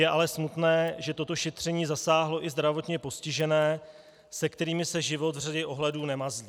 Je ale smutné, že toto šetření zasáhlo i zdravotně postižené, se kterými se život v řadě ohledů nemazlí.